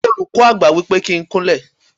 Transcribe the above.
Olùkọ́ Àgbà wípé kí n kún lẹ̀.